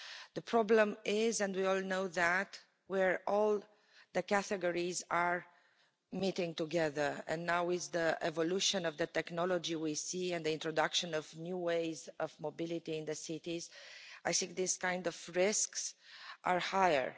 The problem is, and we all know that where all the categories are meeting together, and now the evolution of the technology we see and the introduction of new ways of mobility in cities, I think these kind of risks are higher.